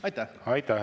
Aitäh!